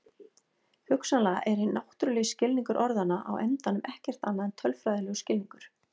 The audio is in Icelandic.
Hugsanlega er hinn náttúrulegi skilningur orðanna á endanum ekkert annað en tölfræðilegur skilningur.